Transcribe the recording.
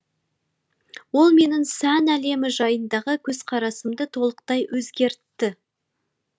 ол менің сән әлемі жайындағы көзқарасымды толықтай өзгертті